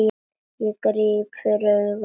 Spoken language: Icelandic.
Ég gríp fyrir augun.